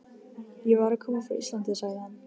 Ég var að koma frá Íslandi, sagði hann.